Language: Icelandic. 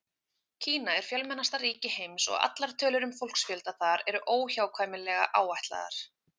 Kína er fjölmennasta ríki heims og allar tölur um fólksfjölda þar eru óhjákvæmilega áætlaðar.